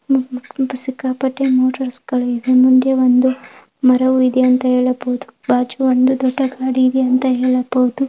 ಹ್ಮ್ಮ್ ಹ್ಮ್ಮ್ ಸಿಕ್ಕಾಪಟ್ಟೆ ಮೋಟಾರ್ಸ್ಗ ಳು ಇದೆ ಮುಂದೆ ಒಂದು ಮರವು ಇದೆ ಅಂತ ಹೇಳಬಹುದು ಬಾಜು ಒಂದು ದೊಡ್ಡ ಗಾಡಿದೆ ಅಂತ ಹೇಳಬಹುದು .